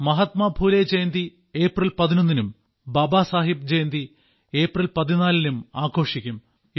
Mahatma Phule Jayanti April 11 നും Baba Saheb Jayanti April 14 നും ആഘോഷിക്കും